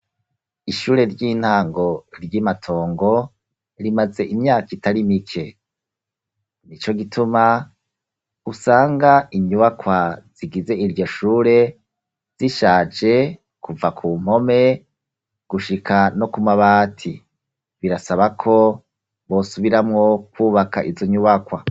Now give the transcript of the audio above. Ishure ry'intango ry'i Matongo, rimaze imyaka itari mike; nico gituma, usanga inyubakwa zigize iryo shure, zishaje kuva ku mpome gushika no ku mabati; birasaba ko bosubiramwo kwubaka izo nyubakwa.